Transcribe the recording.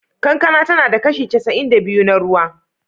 Kankana tana da kashi casa'in da biyu na ruwa.